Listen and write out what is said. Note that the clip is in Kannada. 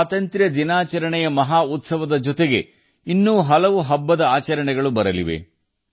ಸ್ವಾತಂತ್ರ್ಯ ದಿನಾಚರಣೆಯ ಮಹಾರಥೋತ್ಸವದ ಜೊತೆಗೆ ಮುಂದಿನ ದಿನಗಳಲ್ಲಿ ಇನ್ನೂ ಹಲವು ಹಬ್ಬಗಳು ಅಣಿಯಾಗುತ್ತಿವೆ